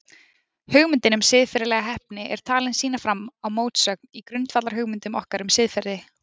Hugmyndin um siðferðilega heppni er talin sýna fram á mótsögn í grundvallarhugmyndum okkar um siðferði.